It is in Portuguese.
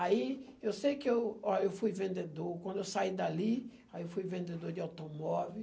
Aí eu sei que eu, ó, eu fui vendedor, quando eu saí dali, aí eu fui vendedor de automóvel.